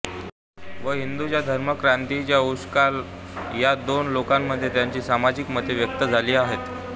व हिंदूंच्या धर्मक्रांतीचा उषःकाल या दोन लेखांमध्ये त्यांची सामाजिक मते व्यक्त झाली आहेत